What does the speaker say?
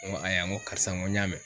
Ŋo aya ŋo karisa ŋo n y'a mɛ.